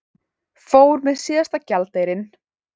Fór með síðasta gjaldeyrinn